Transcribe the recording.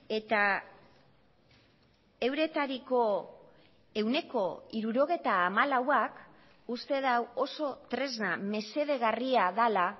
eta euretariko ehuneko hirurogeita hamalauak uste du oso tresna mesedegarria dela